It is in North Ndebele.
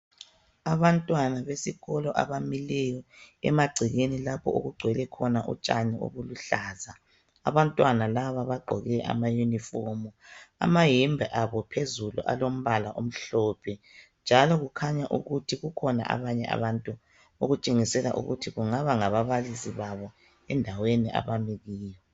Abantwana besikolo abamileyo emagcekeni lapho okugcwele khona utshani ubuluhlaza. Abantwana labo baqgoke amayunifomu, amayembe abo phezulu alombala omhlophe, njalo kukhanya ukithi kukhona abanye abantu okutshengisela ukuthi kungaba ngababalisi babo endaweni abami kiyo.